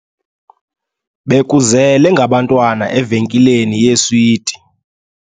Bekuzele ngabantwana evenkileni yeeswiti.